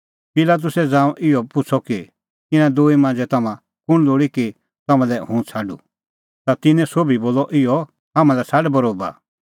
पिलातुसै ज़ांऊं इहअ पुछ़अ कि इना दूई मांझ़ै तम्हां कुंण लोल़ी कि तम्हां लै हुंह छ़ाडूं ता तिन्नैं सोभी बोलअ इहअ हाम्हां लै छ़ाड बरोबा